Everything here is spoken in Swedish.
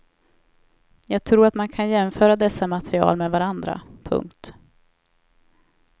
Jag tror att man kan jämföra dessa material med varandra. punkt